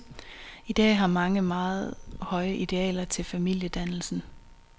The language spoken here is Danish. I dag har mange meget høje idealer til familiedannelsen.